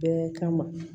Bɛɛ kama